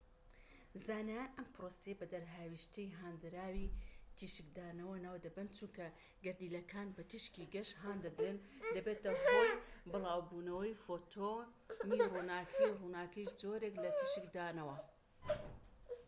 زانایان ئەم پرۆسەیە بە دەرهاوێشتەی هاندراوی تیشکدانەوە ناو دەبەن چونکە گەردیلەکان بە تیشکی گەش هان دەدرێن دەبێتە هۆی بڵاوبوونەوەی فۆتۆنی ڕووناکی ڕووناکیش جۆرێک لە تیشکدانەوە